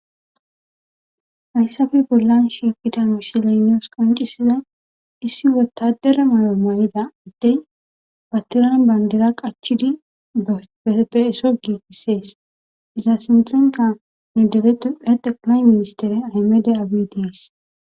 hayssafe bollan shiifida wisilaynios qoncisida issi wotadere mayo may7ida uddey pattirana bayndira qachidi eepeeso giigissees iza sinthenka nu deretu ede qlay ministere amede awidees